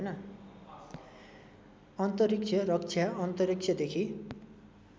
अन्तरिक्ष रक्षा अन्तरिक्षदेखि